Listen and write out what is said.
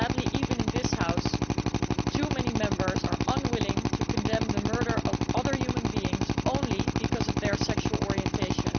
Sadly, even in the House, too many Members are unwilling to condemn the murder of other human beings only because of their sexual orientation.